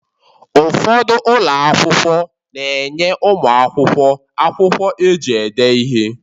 Ụfọdụ ụlọ akwụkwọ na-enye ụmụ akwụkwọ akwụkwọ eji ede ihe